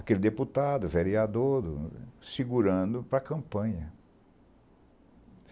Aquele deputado, vereador, segurando para a campanha.